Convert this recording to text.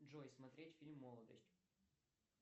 джой смотреть фильм молодость